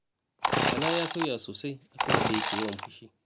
Bala ya sauya sosai a kan yadda yake yawan fushi.